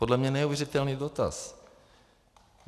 Podle mě neuvěřitelný dotaz.